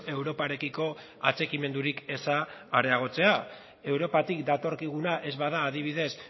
europarekiko atxikimendurik eza areagotzea europatik datorkiguna ez bada adibidez